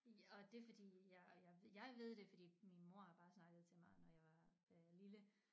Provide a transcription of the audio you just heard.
Og det fordi jeg jeg jeg ved det fordi min mor har bare snakket til mig når jeg var øh lille